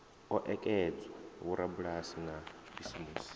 o ekedzwa vhorabulasi na bisimusi